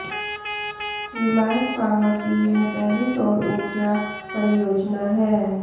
Reliance power की यह पहली सौर ऊर्जा परियोजना है